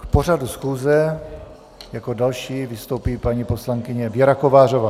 K pořadu schůze jako další vystoupí paní poslankyně Věra Kovářová.